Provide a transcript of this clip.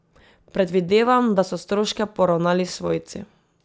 Predvidevam, da so stroške poravnali svojci.